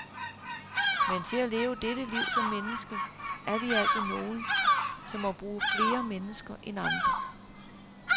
Men til at leve dette liv som menneske, er vi altså nogle, som må bruge flere mennesker end andre.